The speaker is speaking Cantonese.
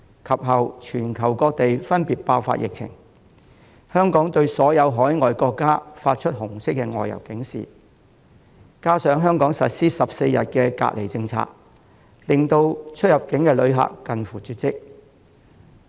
其後全球各地分別爆發疫情，香港對所有海外國家發出紅色外遊警示，加上香港實施14天隔離政策，令出入境旅客近乎絕跡。